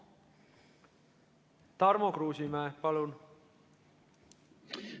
Tarmo Kruusimäe, palun!